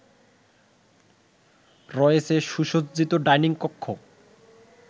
রয়েছে সুসজ্জিত ডাইনিং কক্ষ